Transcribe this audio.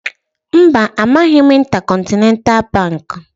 Mba, amaghị m Intercontinental Baankị